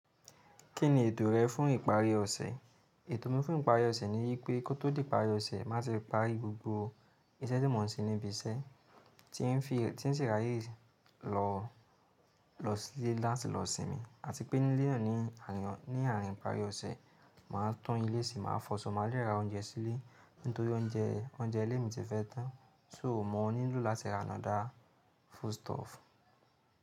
Kí ni ètò rẹ fún ìparí ọ̀sẹ̀? Ètò mi fún ìparí ọ̀sẹ̀ ni wípé kó tó di ìparí ọ̀sẹ̀ máa ti parí gbogbo iṣẹ́ tí mò ń ṣe níbi iṣẹ́ tí ń ṣi ráyé lọ sílé láti lọ sinmi àti pé nile nani àárín ìparí ọ̀sẹ̀ máa tún ilé se máa fọ́ sọ, máa lè ra oúnjẹ sílé nítorí oúnjẹ ilé mi ti fẹ́ tán sò mọ nilo láti ra another food stuff.